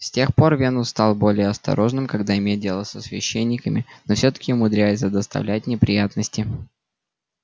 с тех пор венус стал более осторожным когда имеет дело со священниками но всё-таки умудряется доставлять неприятности